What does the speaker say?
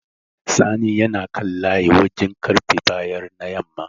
Sani yana kan layi wajen ƙarfe bayar na yamma.